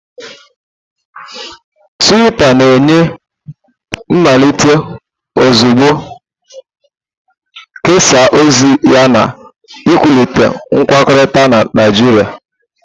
Tuita na-enye mmelite ozugbo, kesaa ozi yana ịkwalite nkwukọrịta na Naijiria.